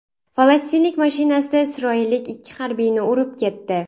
Falastinlik mashinasida isroillik ikki harbiyni urib ketdi.